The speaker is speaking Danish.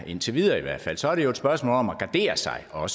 indtil videre i hvert fald så er det jo et spørgsmål om også at gardere sig og